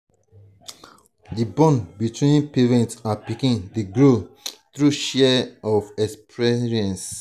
di bond between parent and pikin dey grow through shared experiences.